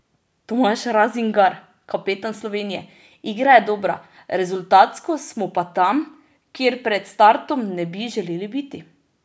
Tomaž Razingar, kapetan Slovenije: "Igra je dobra, rezultatsko smo pa tam, kjer pred startom ne bi želeli biti.